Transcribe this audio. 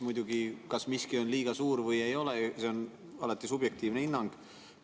Muidugi, kas miski on liiga suur või mitte, on alati subjektiivne hinnang.